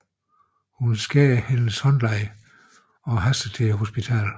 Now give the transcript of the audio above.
Hun skærer hendes håndled og haster til hospitalet